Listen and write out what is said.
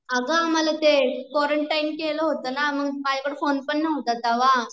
अगं मला ते क्वारंटाइन केला होता ना मग माझ्याकड फोन पण नव्हता तवा